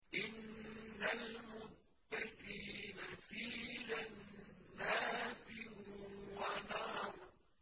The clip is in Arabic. إِنَّ الْمُتَّقِينَ فِي جَنَّاتٍ وَنَهَرٍ